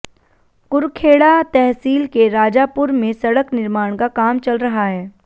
कुरखेड़ा तहसील के राजापुर में सड़क निर्माण का काम चल रहा है